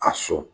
A so